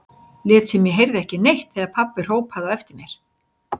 Lét sem ég heyrði ekki neitt þegar pabbi hrópaði á eftir mér.